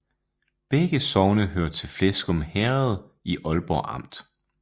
Begge sogne hørte til Fleskum Herred i Aalborg Amt